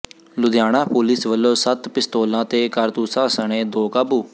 Ludhiana police ਵੱਲੋਂ ਸੱਤ ਪਿਸਤੌਲਾਂ ਤੇ ਕਾਰਤੂਸਾਂ ਸਣੇ ਦੋ ਕਾਬੂ